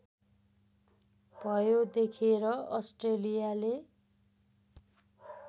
भयो देखेर अस्ट्रेलियाले